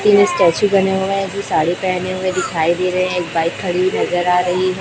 तीन स्टेचू बने हुआ है ये साड़ी पहने हुआ दिखाई दे रहे है एक बाइक खड़ी हुई नजर आ रही है।